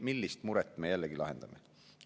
Millist muret me jällegi lahendame?